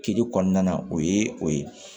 Kile kɔnɔna na o ye o ye